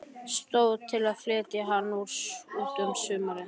Stóð til að flytja hann út um sumarið.